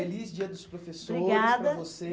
Feliz dia dos professores, obrigada, para você.